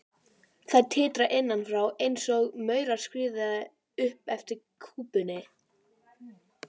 Þær titra innan frá einsog maurar skríði upp eftir kúpunni.